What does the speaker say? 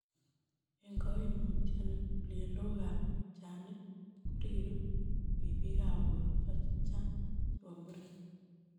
En koimutioni, ngulyelokab lupchanik koriru ribikab borto chechang' chebo muren.